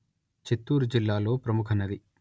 చిత్తూరు జిల్లాలో ప్రముఖ నది